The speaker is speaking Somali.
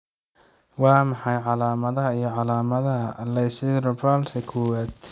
Waa maxay calaamadaha iyo calaamadaha Lissencephaly kowad?